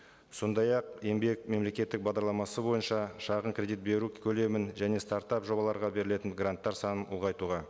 сондай ақ еңбек мемлекеттік бағдарламасы бойынша шағын кредит беру көлемін және стартап жобаларға берілетін гранттар санын ұлғайтуға